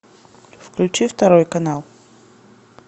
включи второй канал